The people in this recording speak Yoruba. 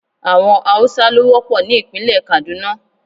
Àwọn Haúsá ló wọ́pọ̀ ní ìpínlẹ̀ Kàdúná.